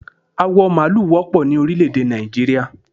Awọ maalu wọ́pọ̀ ni orílẹ̀ èdè Nàìjíríà